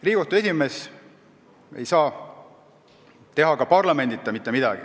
Riigikohtu esimees ei saa teha ka parlamendita mitte midagi.